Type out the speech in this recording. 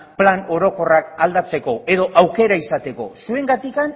plan orokorrak aldatzeko edo aukera izateko zuengatik